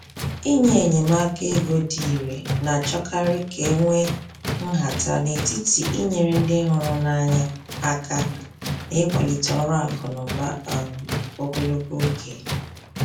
Inye enyemaka ego dị irè na-achọkarị ka e nwee nhata n’etiti inyere ndị hụrụ n’anya aka na ịkwalite ọrụ akụ na ụba um ogologo oge.